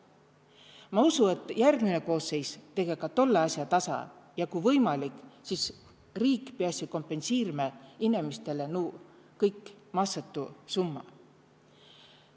Ma usu, et järgmine koosseis tege ka tolle asja tasa ja ku võimalik, siis riik piäsi kompensiirmä inemistõlõ nuu kõik massõtu summa.